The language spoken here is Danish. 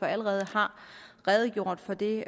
allerede har redegjort for det